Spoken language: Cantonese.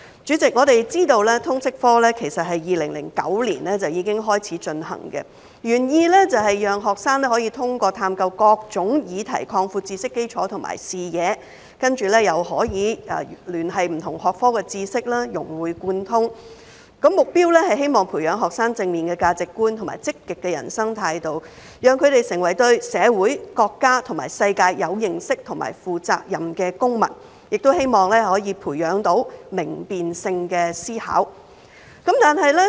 主席，我們知道通識科其實是在2009年已開始推行，原意是讓學生可以通過探究各種議題擴闊知識基礎和視野，以及可以聯繫不同學科的知識，融會貫通，而目標是希望培養學生正面的價值觀和積極的人生態度，讓他們成為對社會、國家和世界有認識和負責任的公民，亦希望可以培養明辨性的思考。